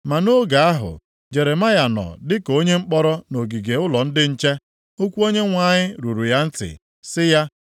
Ma nʼoge ahụ, Jeremaya nọ dị ka onye mkpọrọ nʼogige ụlọ ndị nche, okwu Onyenwe anyị ruru ya ntị sị ya,